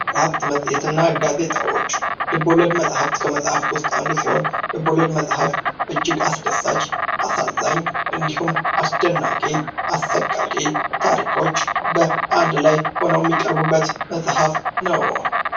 መጽሄትና ጋዜጣዎች የልቦለድ መጽሐፍ ከመጽሐፎች ውስጥ አንዱ ሲሆን ጽሑፉም እጅግ አስደሳች፣ አዛኝ፣ አስደናቂና አሰቃቂ ታሪኮች አንድ ላይ ሆነው የሚቀርቡበት ጽፈት ነው።